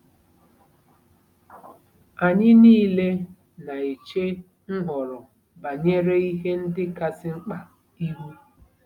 Anyị nile na-eche nhọrọ banyere ihe ndị kasị mkpa ihu.